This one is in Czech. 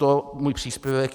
Tolik můj příspěvek.